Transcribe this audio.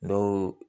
N'o